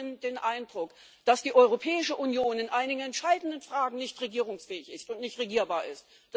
Ich habe den Eindruck, dass die Europäische Union in einigen entscheidenden Fragen nicht regierungsfähig und nicht regierbar ist.